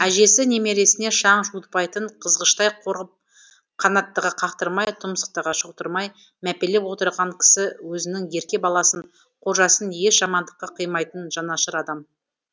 әжесі немересіне шаң жуытпайтын қызғыштай қорып қанаттыға қақтырмай тұмсықтыға шоқыттырмай мәпелеп отырған кісі өзінің ерке баласын қожасын еш жамандыққа қимайтын жанашыр адам